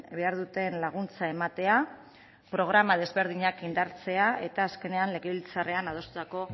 behar duten laguntza ematea programa desberdinak indartzea eta azkenean legebiltzarrean adostutako